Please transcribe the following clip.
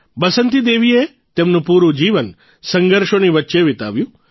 બસંતી દેવીએ તેમનું પૂરૂં જીવન સંઘર્ષોની વચ્ચે વિતાવ્યું